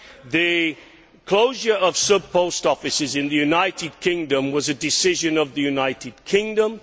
The closure of sub post offices in the United Kingdom was a decision of the United Kingdom.